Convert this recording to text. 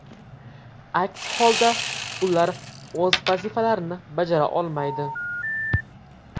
Aks holda ular o‘z vazifalarini bajara olmaydi.